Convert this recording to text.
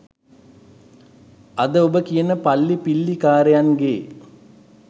අද ඔබ කියන පල්ලි පිල්ලි කාරයින්ගේ